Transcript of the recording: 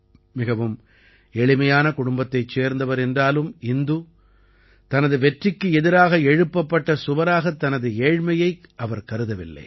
மிகவும் எளிமையான குடும்பத்தைச் சேர்ந்தவர் என்றாலும் இந்து தனது வெற்றிக்கு எதிராக எழுப்பப்பட்ட சுவராகத் தனது ஏழ்மையை அவர் கருதவில்லை